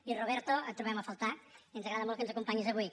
i roberto et trobem a faltar ens agrada molt que ens acompanyis avui